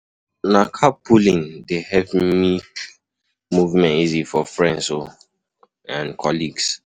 Na carpooling dey help make movement easy for friends um and colleagues.